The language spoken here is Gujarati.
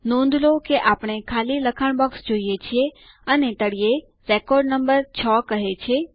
નોંધ લો કે આપણે ખાલી લખાણ બોક્સ જોઈએ છીએ અને તળિયે રેકોર્ડ નંબર ૬ કહે છે